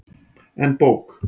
En bók?